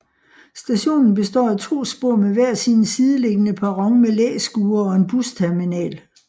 Stationen består af to spor med hver sin sideliggende perron med læskure og en busterminal